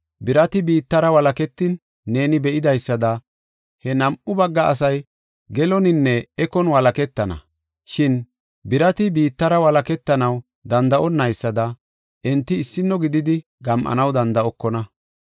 Birati biittara walaketin neeni be7idaysada he nam7u bagga asay geloninne ekon walaketana. Shin birati biittara walaketanaw danda7onaysada enti issino gididi gam7anaw danda7okona.